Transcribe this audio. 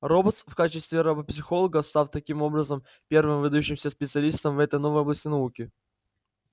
робот в качестве робопсихолога став таким образом первым выдающимся специалистом в этой новой области науки